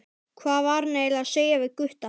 Hvað var hann eiginlega að segja við Gutta?